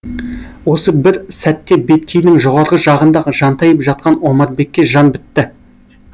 осы бір сәтте беткейдің жоғарғы жағында жантайып жатқан омарбекке жан бітті